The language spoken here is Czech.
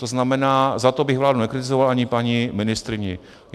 To znamená, za to bych vládu nekritizoval, ani paní ministryni.